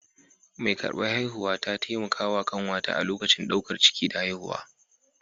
Mai ƙarɓar haihuwar ta taimaka wa kanwata a lokacin ɗaukar ciki da haihuwa.